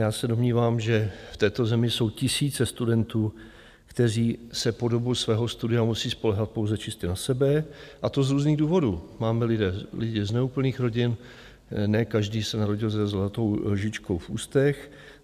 Já se domnívám, že v této zemi jsou tisíce studentů, kteří se po dobu svého studia musí spoléhat pouze čistě na sebe, a to z různých důvodů - máme lidi z neúplných rodin, ne každý se narodil se zlatou lžičkou v ústech.